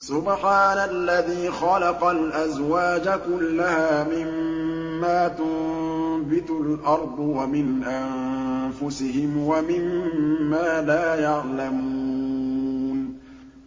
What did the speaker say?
سُبْحَانَ الَّذِي خَلَقَ الْأَزْوَاجَ كُلَّهَا مِمَّا تُنبِتُ الْأَرْضُ وَمِنْ أَنفُسِهِمْ وَمِمَّا لَا يَعْلَمُونَ